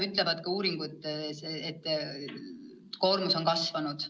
Ka uuringud kinnitavad, et koormus on kasvanud.